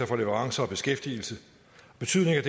fra leverancer og beskæftigelse betydningen af